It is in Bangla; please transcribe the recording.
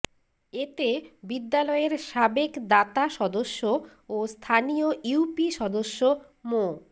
এতে বিদ্যালয়ের সাবেক দাতা সদস্য ও স্থানীয় ইউপি সদস্য মো